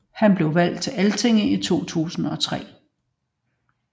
Han blev valgt til Altinget i 2003